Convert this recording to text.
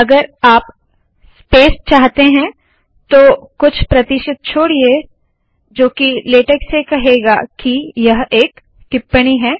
अगर आप स्पेस चाहते है तो कुछ प्रतिशित छोडिये जो की लेटेक से कहेगा जो सामान्य नहीं है